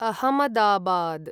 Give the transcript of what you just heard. Ahmedabad